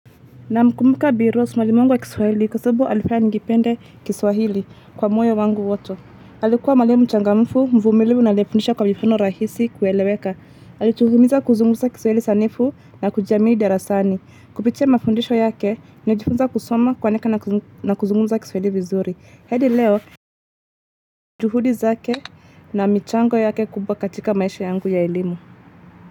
Namkumbuka bi. Rose mwalimu wangu wa kiswahili kwa sababu alifaya nikipende kiswahili kwa moyo wangu wote. Alikuwa mwalimu mchangamfu, mvumilivu na aliyefundisha kwa mifano rahisi kueleweka. Alituhimiza kuzungumza kiswahili sanifu na kujamii darasani. Kupitia mafundisho yake, nijifunza kusoma kuandika na kuzungumza kiswahili vizuri. Hedi leo, juhudi zake na michango yake kubwa katika maisha yangu ya elimu.